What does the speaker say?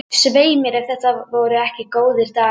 Svei mér ef þetta voru ekki góðir dagar.